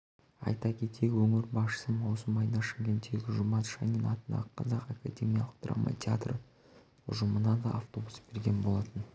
айта кетейік өңір басшысы маусым айында шымкенттегі жұмат шанин атындағы қазақ академиялық драма театры ұжымына да автобус берген болатын